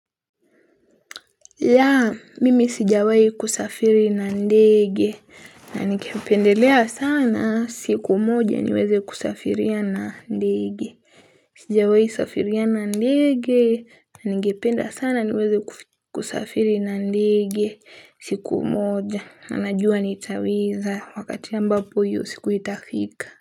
Yaa mimi sijawai kusafiri na ndeege na nikependelea sana siku moja niweze kusafiria na ndege sijawai safiria na ndeege na ningependa sana niweze kusafiri na ndeege siku moja na najua nitaweza wakati ambapo hiyo siku itafika.